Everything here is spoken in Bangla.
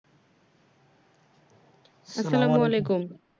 আসসালামু আলাইকুম